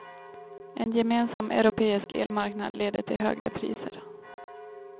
En gemensam europeisk elmarknad leder till högre priser.